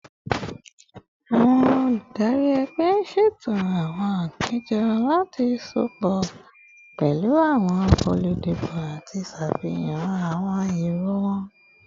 Awọn oludari ẹgbẹ ṣeto awọn apejọ lati sopọ pẹlu awọn oludibo ati ṣafihan awọn ero wọn